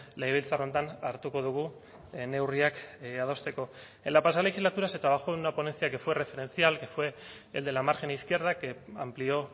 legebiltzar honetan hartuko dugu neurriak adosteko en la pasada legislatura se trabajó en una ponencia que fue referencial que fue el de la margen izquierda que amplió